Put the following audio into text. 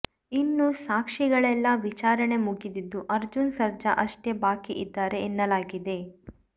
ಇನ್ನು ಸಾಕ್ಷಿಗಳೆಲ್ಲಾ ವಿಚಾರಣೆ ಮುಗಿದಿದ್ದು ಅರ್ಜುನ್ ಸರ್ಜಾ ಅಷ್ಟೇ ಬಾಕಿ ಇದ್ದಾರೆ ಎನ್ನಲಾಗಿದೆ